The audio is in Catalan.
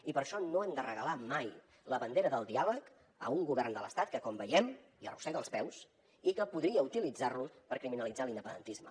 i per això no hem de regalar mai la bandera del diàleg a un govern de l’estat que com veiem hi arrossega els peus i que podria utilitzar lo per criminalitzar l’independentisme